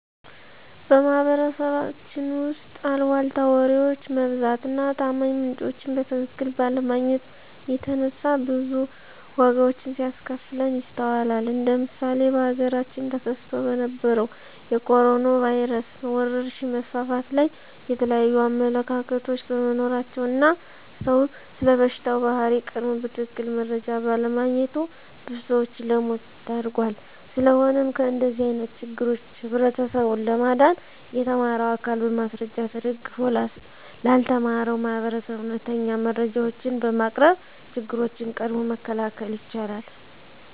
በማህበረሰባችን ውስጥ አልቧልታ ወሬዎች መብዛት እና ታማኝ ምንጮችን በትክክል ባለማግኘት የተነሳ ብዙ ዋጋዎች ሲያስከፍለን ይስተዋላል እንደ ምሳሌ በሀገራችን ተከስቶ በነበረዉ የኮሮኖ ቫይረስ ወረርሽኝ መስፋፋት ላይ የተለያዩ አመለካከቶች በመኖራቸው እና ሰዉ ስለበሽታው ባህሪ ቀድሞ በትክክል መረጃ ባለማግኘቱ ብዙ ሰዎችን ለሞት ዳርጓል። ስለሆነም ከእንደዚህ አይነት ችግሮች ህብረተሰቡን ለማዳን የተማረው አካል በማስረጃ ተደግፎ ላልተማረው ማህበረሰብ እውነተኛ መረጃዎችን በማቅረብ ችግሮችን ቀድሞ መከላከል ይቻላል።